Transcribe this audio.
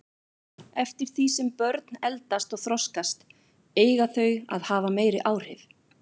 Eftir því sem börn eldast og þroskast eiga þau að hafa meiri áhrif.